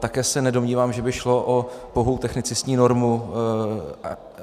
Také se nedomnívám, že by šlo o pouhou technicistní normu.